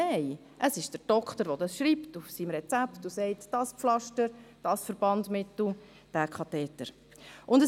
Nein, es ist der Arzt, der es auf dem Rezept festhält und bestimmt, welches Pflaster, welches Verbandsmittel oder welcher Katheter verwendet werden muss.